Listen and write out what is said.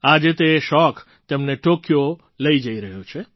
આજે તે શોખ તેમને ટૉક્યો લઈ જઈ રહ્યો છે